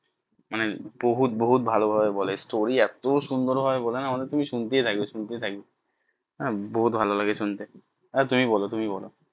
মানে বহুত বহুত ভালো ভাবে বলে story এত সুন্দর ভাবে বলে না মানে তুমি শুনতেই থাকবে শুনতেই থাকবে বহুত ভালো লাগে শুনতে আহ তুমি বলো তুমি বলো